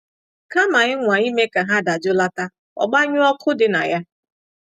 Kama ịnwa ime ka ọ dajụlata, gbanyụọ ọkụ dị na ya.